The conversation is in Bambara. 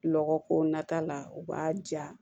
Lɔgɔ ko nata la u b'a ja